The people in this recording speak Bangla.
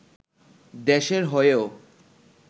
দেশের হয়েও